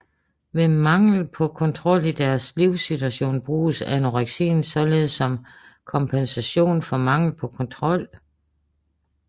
Ved mangel på kontrol i deres livssituation bruges anoreksien således som kompensation for mangel på kontrol